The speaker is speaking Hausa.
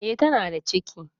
E, tana da ciki.